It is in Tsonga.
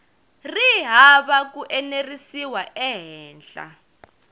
ri hava ku enerisiwa ehenhla